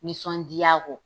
Nisɔndiya kɔ.